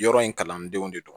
Yɔrɔ in kalandenw de don